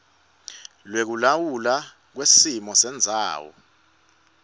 lwekulawulwa kwesimo sendzawo